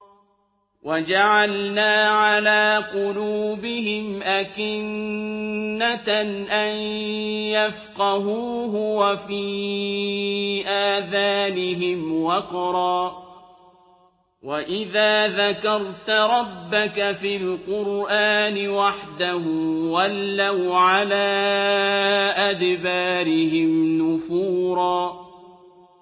وَجَعَلْنَا عَلَىٰ قُلُوبِهِمْ أَكِنَّةً أَن يَفْقَهُوهُ وَفِي آذَانِهِمْ وَقْرًا ۚ وَإِذَا ذَكَرْتَ رَبَّكَ فِي الْقُرْآنِ وَحْدَهُ وَلَّوْا عَلَىٰ أَدْبَارِهِمْ نُفُورًا